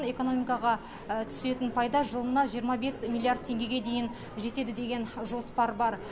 экономикаға түсетін пайда жылына жиырма бес миллиард теңгеге дейін жетеді деген жоспар бар